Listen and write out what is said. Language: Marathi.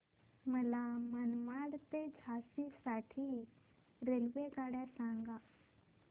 मला मनमाड ते झाशी साठी रेल्वेगाड्या सांगा